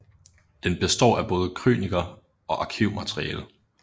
Den består af både krøniker og arkivmateriale